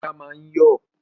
Ilá máa ń yọ̀